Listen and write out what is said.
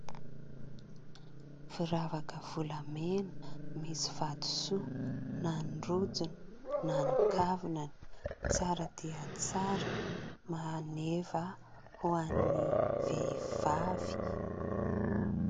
Firavaka volamena misy vatosoa na ny rojony na ny kavinany, tsara dia tsara, maneva ho an'ny vehivavy.